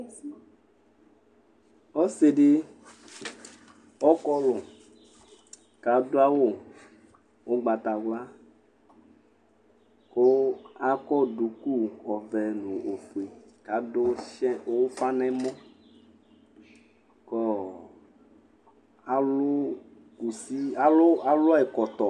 Ɔsidi ɔkɔlu kadu awu ugbatawla ku akɔ duku ɔvɛ nu ofue adu ufa nɛmɔ ku alu kusi kalu ɛkɔtɔ